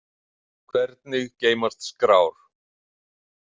Hvernig geymast skrár?